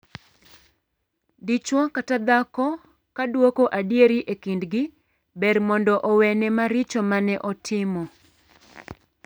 Dichwo kata dhako ka duoko adieri e kindgi, ber mondo owene maricho mane otimo.